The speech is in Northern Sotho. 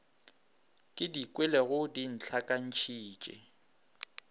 ke di kwelego di ntlhakantšhitše